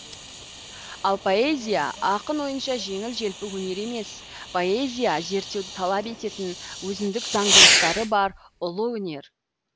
ал поэзия ақын ойынша жеңіл желпі өнер емес поэзия зерттеуді талап ететін өзіндік заңдылықтары бар ұлы өнер